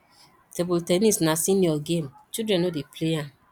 table ten nis na senior game children no dey play am